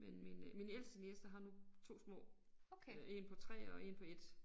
Men min øh min ældste niece har nu 2 små øh 1 på 3 og 1 på 1